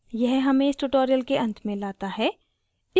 यह हमें इस tutorial के अंत में लाता है